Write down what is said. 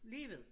Lige ved